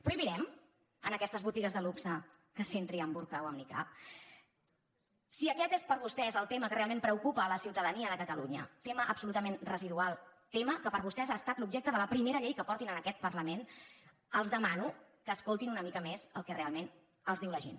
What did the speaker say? prohibirem en aquestes botigues de luxe que s’hi entri amb burca o amb nicab si aquest és per a vostès el tema que realment preocupa a la ciutadania de catalunya tema absolutament residual tema que per a vostès ha estat l’objecte de la primera lleu que portin en aquest parlament els demano que escoltin una mica més el que realment els diu la gent